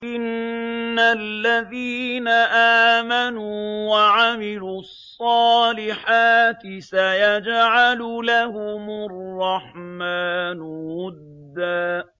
إِنَّ الَّذِينَ آمَنُوا وَعَمِلُوا الصَّالِحَاتِ سَيَجْعَلُ لَهُمُ الرَّحْمَٰنُ وُدًّا